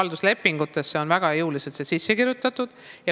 Halduslepingutesse on see väga jõuliselt sisse kirjutatud.